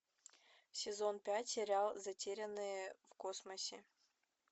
сезон пять сериал затерянные в космосе